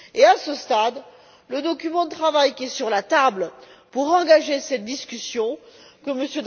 À ce stade, le document de travail qui est sur la table pour engager cette discussion, auquel M.